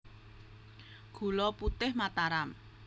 Gula Putih Mataram